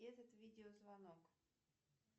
этот видео звонок